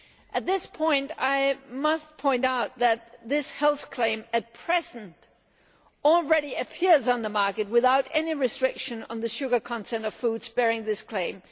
At this point I must point out that this health claim at present already appears on the market without any restriction on the sugar content of foods bearing this claim.